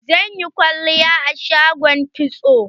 Zan yi kwalliya a shagon kitso.